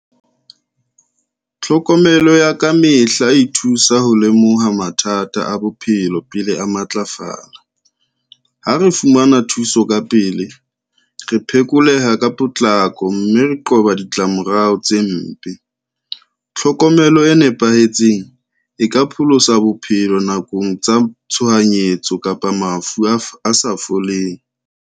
Tlhokomelo ya kamehla e thusa ho lemoha mathata a bophelo pele a matlafala. Ha re fumana thuso ka pele re phekoleha ka potlako, mme re qoba ditlamorao tse mpe. Tlhokomelo e nepahetseng e ka pholosa bophelo nakong tsa tshohanyetso kapa mafu a sa foleng.